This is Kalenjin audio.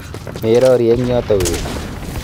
Merori eng yoto weri.